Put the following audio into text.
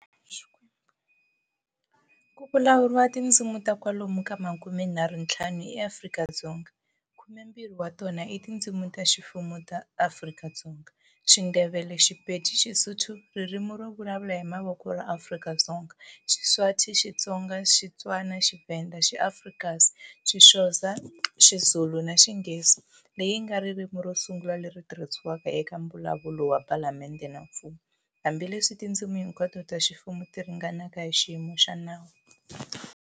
Ku vulavuriwa tindzimi ta kwalomu ka makumenharhu ntlhanu eAfrika-Dzonga, khume mbirhi wa tona i tindzimi ta ximfumo ta Afrika-Dzonga-Xindebele, Xipedi, Xisotho, Ririmi to vulavuala hi Mavoko ra Afrika-Dzonga, Xiswazi, Xitsonga, Xitswana, Xivenda, XiAfrikaans, Xixhosa, Xizulu, na Xinghezi, leyi nga ririmi ro sungula leri tirhisiwaka eka mbulavulo wa palamende na mfumo, hambileswi tindzimi hinkwato ta ximfumo ti ringanaka hi xiyimo xa nawu.